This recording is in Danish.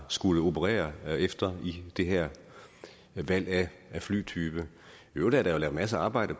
skullet operere efter i det her valg af flytype i øvrigt er der lavet masser af arbejde